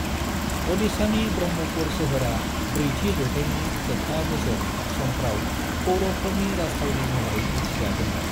ओडिशानि ब्रह्मपुर सोहोरआ ब्रैथि जौथाइनि जोबथा बोसोर समफ्राव पौरवफोरनि राजथावनि महरैबो मिथिजादोंमोन।